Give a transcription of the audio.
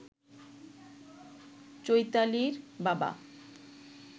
চৈতালির বাবা